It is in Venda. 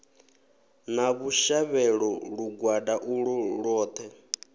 na vhushavhelo lugwada ulwo lwoṱhe